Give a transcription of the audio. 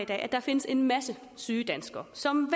at der findes en masse syge danskere som